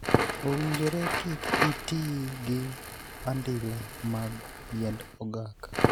Owinjore kik itii gi andila mag yiend ogaka.